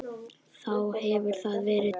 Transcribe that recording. Þá hefur þar verið þorp.